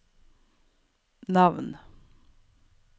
navn